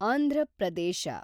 Andhra Pradesh